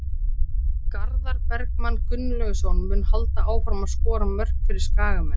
Garðar Bergmann Gunnlaugsson mun halda áfram að skora mörk fyrir Skagamenn.